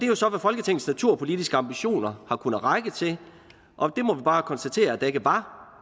jo så det folketingets naturpolitiske ambitioner har kunnet række til og vi må bare konstatere at der ikke var